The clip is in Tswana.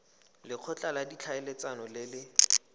lekgotla la ditlhaeletsano le le